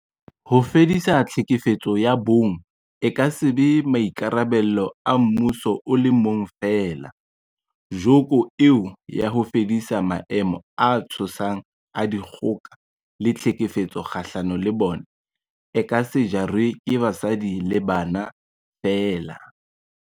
Ho fedisa tlhekefetso ya bong e ka se be maikarabelo a mmuso o le mong feela, joko eo ya ho fedisa maemo a tshosang a dikgoka le tlhekefetso kgahlano le bona, e ka se jarwe ke basadi le bana feela.